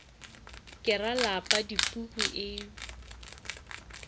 ke ra lapa dipuku e